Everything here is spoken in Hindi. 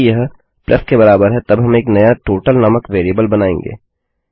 यदि यह plusके बराबर है तब हम एक नया टोटल नामक वेरिएबल बनाएँगे